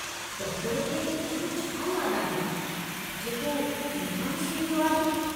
Doctor खे अहिड़ो छा याद आहे, जेको मूंखां विसरी वियो आहे?